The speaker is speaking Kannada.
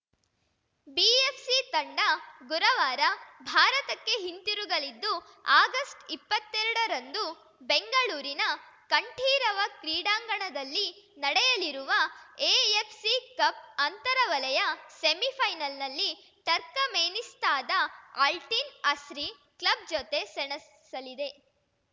ಬಿಎಫ್‌ಸಿ ತಂಡ ಗುರವಾರ ಭಾರತಕ್ಕೆ ಹಿಂದಿರುಗಲಿದ್ದು ಆಗಸ್ಟ್ಇಪ್ಪತ್ತೆರಡರಂದು ಬೆಂಗಳೂರಿನ ಕಂಠೀರವ ಕ್ರೀಡಾಂಗಣದಲ್ಲಿ ನಡೆಯಲಿರುವ ಎಎಫ್‌ಸಿ ಕಪ್‌ ಅಂತರ ವಲಯ ಸೆಮಿಫೈನಲ್‌ನಲ್ಲಿ ಟರ್ಕಮೆನಿಸ್ತಾದ ಅಲ್ಟಿನ್‌ ಅಸ್ರಿ ಕ್ಲಬ್‌ ಜತೆ ಸೆಣಸಲಿದೆ